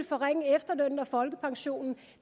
forringe efterlønnen og folkepensionen